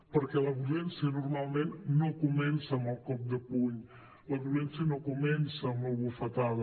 perquè la violència normalment no comença amb el cop de puny la violència no comença amb la bufetada